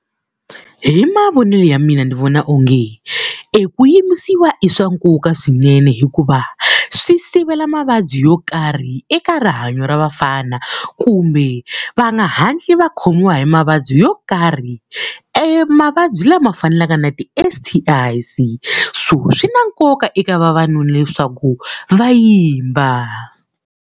Hi mavonelo ya mina ni vona onge eku yimbisiwa i swa nkoka swinene hikuva, swi sivela mavabyi yo karhi eka rihanyo ra vafana kumbe va nga hatli va khomiwa hi mavabyi yo karhi. Emavabyi lama fanaka na ti-S_T_I, so swi na nkoka eka vavanuna leswaku va yimba.